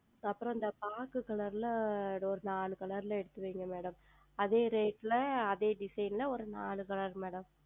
அப்புறம் இந்த பாக்கு Color ல் ஓர் நான்கு Color எடுத்து வையுங்கள் Madam அதே Rate ல அதே Design ல ஓர் நான்கு ColorMadam